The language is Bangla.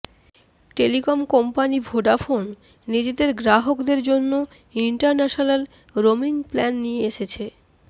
টেলিকম কোম্পানি ভোডাফোন নিজেদের গ্রাহকদের জন্য ইন্টারন্যাশানাল রোমিং প্ল্যান নিয়ে এসছে